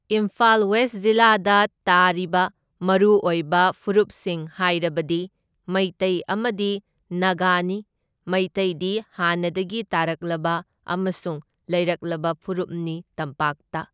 Imphal west ꯖꯤꯂꯥꯗ ꯇꯥꯔꯤꯕ ꯃꯔꯨ ꯑꯣꯏꯕ ꯐꯨꯔꯨꯞꯁꯤꯡ ꯍꯥꯏꯔꯕꯗꯤ ꯃꯩꯇꯩ ꯑꯃꯗꯤ ꯅꯥꯒꯥꯅꯤ, ꯃꯩꯇꯩꯗꯤ ꯍꯥꯟꯅꯗꯒꯤ ꯇꯥꯔꯛꯂꯕ ꯑꯃꯁꯨꯡ ꯂꯩꯔꯛꯂꯕ ꯐꯨꯔꯨꯞꯅꯤ ꯇꯝꯄꯥꯛꯇ꯫